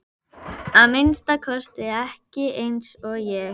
Að minnsta kosti ekki eins og ég.